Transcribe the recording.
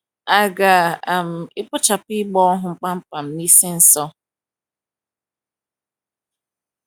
À ga - um ekpochapụ ịgba ohu kpam kpam n’isi nso?